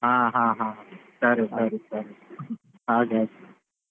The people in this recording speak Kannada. ಹ ಹಾ ಸರಿ ಸರಿ ಸರಿ ಹಾಗೆ ಹಾಗೆ.